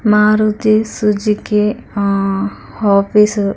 Maruti Suzuki ఆ office --